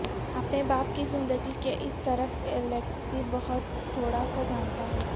اپنے باپ کی زندگی کے اس طرف الیکسی بہت تھوڑا سا جانتا ہے